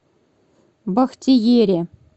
бахтиере